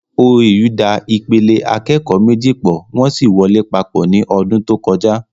OAU da ìpele akẹ́kọ̀ọ́ méjì pọ̀, wọ́n sì wọ lé papọ̀ ní ọdún tó kọjá